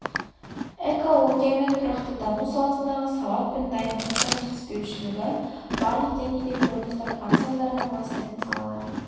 экология мен тұрақты даму саласындағы сауат пен дайындықтың жетіспеушілігі барлық деңгейде көрініс тапқаны салдарынан ластайтын салалар